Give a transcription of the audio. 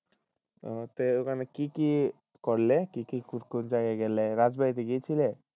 আহ তে ওখানে কি কি করলে কি কি জায়গায় গেলে রাজবাড়ি গিয়েছিলে?